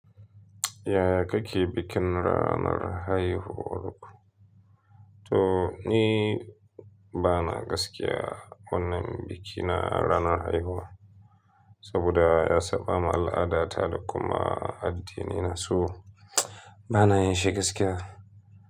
Yaya kake bikin ranar haihuwar ku? To ni bana gaskiya wannan bikina ranar haihuwa. Saboda ya saba mu al'ada ta da kuma addinina su bana yin shi gaskiya.